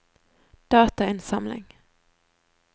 datainnsamling